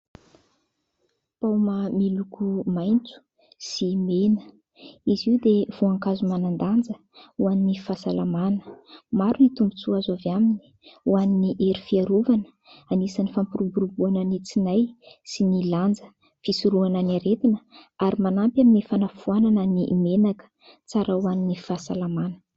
Paoma miloko maitso sy mena. Izy io dia voankazo manan-danja ho an'ny fahasalamana. Maro ny tombontsoa azo avy aminy ho an'ny hery fiarovana, anisan'ny fampiroboroboana ny tsinay sy ny lanja. Fisorohana ny aretina ary manampy amin'ny fanafoanana ny menaka, tsara ho an'ny fahasalamana.